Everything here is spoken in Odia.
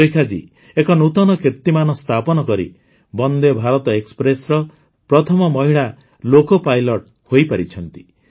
ସୁରେଖାଜୀ ଏକ ନୂତନ କୀର୍ତିମାନ ସ୍ଥାପନ କରି ବନେ୍ଦ ଭାରତ ଏକ୍ସପ୍ରେସ୍ର ପ୍ରଥମ ମହିଳା ଲୋକୋ ପାଇଲଟ୍ ହୋଇପାରିଛନ୍ତି